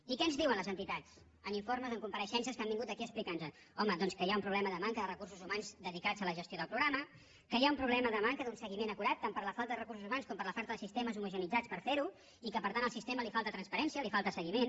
i què ens diuen les entitats en informes en compareixences que han vingut aquí a explicar nos ho home doncs que hi ha un problema de manca de recursos humans dedicats a la gestió del programa que hi ha un problema de manca d’un seguiment acurat tant per la falta de recursos humans com per la falta de sistemes homogeneïtzats per fer ho i que per tant al sistema li falta transparència li falta seguiment